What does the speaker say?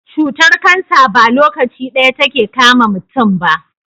Cutar cancer ba lokaci daya take kama muntun ba